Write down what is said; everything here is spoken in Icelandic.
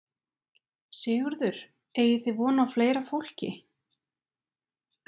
Sigurður: Eigið þið vona á fleira fólki?